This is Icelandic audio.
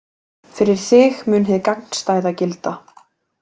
Fyrir þig mun hið gagnstæða gilda.